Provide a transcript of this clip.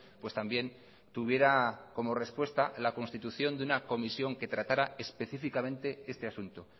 pues también tuviera como respuesta la constitución de una comisión que tratara específicamente este asunto